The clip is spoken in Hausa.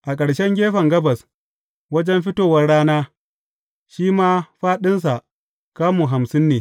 A ƙarshen gefen gabas, wajen fitowar rana, shi ma fāɗinsa kamu hamsin ne.